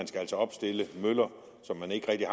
skal opstille møller som man ikke rigtig